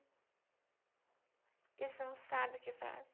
Eles não sabem o que faz.